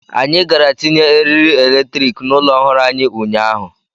Anyị gara tinye eriri eletrik n'ụlọ ọhụrụ anyị ụnyaahụ.